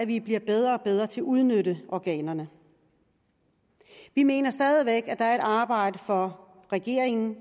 vi bliver bedre og bedre til at udnytte organerne vi mener stadig væk at der er et arbejde for regeringen